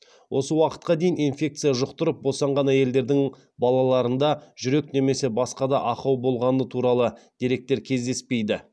осы уақытқа дейін инфекция жұқтырып босанған әйелдердің балаларында жүрек немесе басқа да ақау болғаны туралы деректер кездеспейді